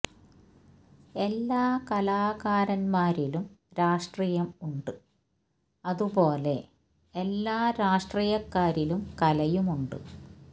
എല്ലാ കലാകാരന്മാരിലും രാഷ്ട്രീയം ഉണ്ട് അതുപോലെ എല്ലാ രാഷ്ട്രീയക്കാരിലും കലയും ഉണ്ട്